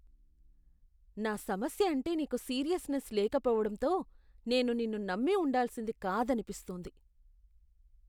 నా సమస్య అంటే నీకు సీరియస్నెస్ లేకపోవడంతో నేను నిన్ను నమ్మి ఉండాల్సింది కాదనిపిస్తోంది.